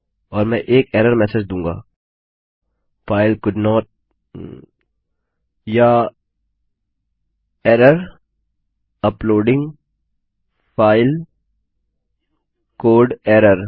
और मैं एक एरर मेसेज दूँगा फाइल कोल्डेंट या error uploading file code error